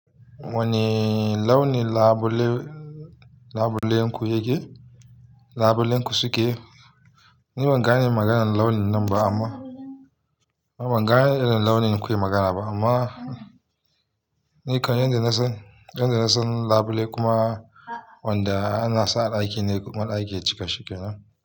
Wanne launin labule labulenku yake? Labulenku suke? Ni ban gane maganan launin nan ba amma ban gane irin launin kuke magana ba amma ni kan yadda na san, yadda na san labule kuma wanda ana sa daki ne kuma daki ya cika shike nan.